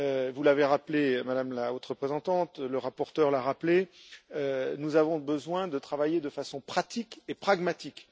Vous l'avez rappelé, Madame la Haute Représentante, le rapporteur l'a rappelé, nous avons besoin de travailler de façon pratique et pragmatique.